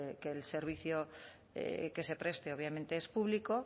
que el servicio que se preste obviamente es público